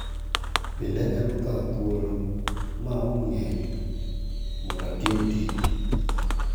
Bende anyalo kawo thuolo maom ng�eny mondo atim tich?